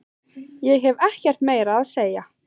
Ég hef ekkert meira að segja.